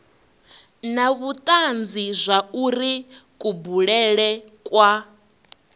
na vhutanzi zwauri kubulele kwa